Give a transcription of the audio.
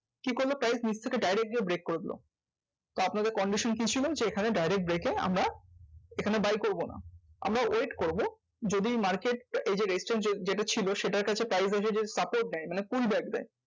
কি করলো? price নিচ থেকে direct গিয়ে break করে দিলো। তা আপনাদের condition কি ছিলো? যে এখানে direct break এ আমরা এখানে buy করবোনা, আমরা wait করবো যদি market এই যে resistance যে~ যেটা ছিলো সেটার কাছে price যদি support দেয় মানে pull back দেয়,